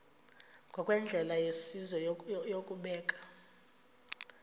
ngokwendlela yesizwe yokubeka